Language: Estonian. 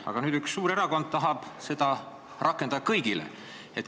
Aga nüüd üks suur erakond tahab seda rakendada kõigile.